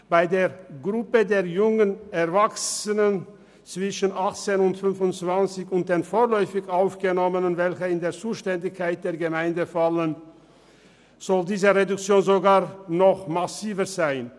Bei der Gruppe der jungen Erwachsenen zwischen 18 und 25 Jahren und den vorläufig Aufgenommenen, für die die Zuständigkeit bei den Gemeinden liegt, soll diese Reduktion sogar noch massiver ausfallen.